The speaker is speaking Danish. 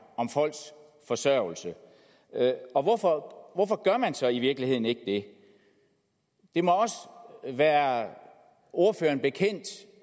om folks forsørgelse og hvorfor hvorfor gør man så i virkeligheden ikke det det må også være ordføreren bekendt